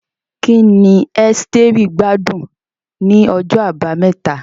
Kí ni Esteri gbádùn ní ọjọ́ Àbámẹ́ta?